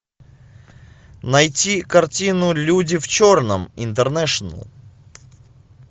найти картину люди в черном интернешнл